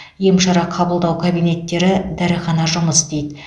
ем шара қабылдау кабинеттері дәріхана жұмыс істейді